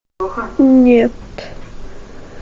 нет